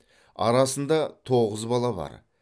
арасында тоғыз бала бар